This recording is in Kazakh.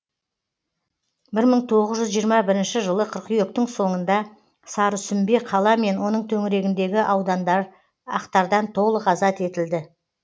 бір мың тоғыз жүз жиырма бірінші жылы қыркүйектің соңында сарысүмбе қала мен оның төңірегіндегі аудандар ақтардан толық азат етілді